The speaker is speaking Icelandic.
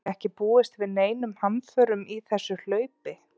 Er ekki búist við neinum hamförum í þessu hlaupi?